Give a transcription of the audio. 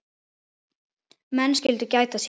Menn skyldu gæta sín.